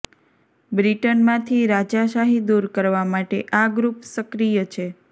બ્રિટનમાંથી રાજાશાહી દૂર કરવા માટે આ ગ્રુપ સક્રિય છે